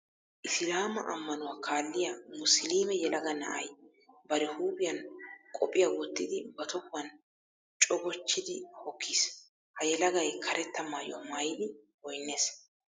Isilaamaa ammanuwa kaalliya musuluume yelaga na'ay bari huuphiyan qophiya wottidi ba tohuwan cogochchidi hokkiis. Ha yelagay karetta maayuwa maayidi goynnees.